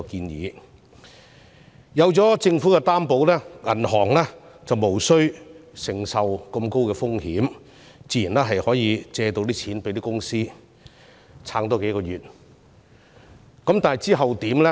有政府作擔保，銀行便無須承擔很高的風險，自然願意向中小企借貸，使它們再撐幾個月。